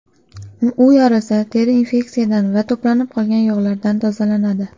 U yorilsa, teri infeksiyadan va to‘planib qolgan yog‘lardan tozalanadi.